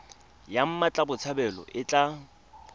ya mmatla botshabelo e tla